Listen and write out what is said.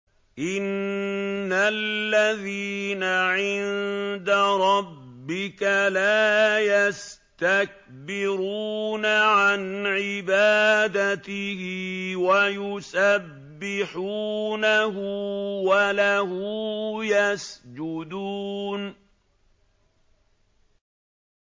إِنَّ الَّذِينَ عِندَ رَبِّكَ لَا يَسْتَكْبِرُونَ عَنْ عِبَادَتِهِ وَيُسَبِّحُونَهُ وَلَهُ يَسْجُدُونَ ۩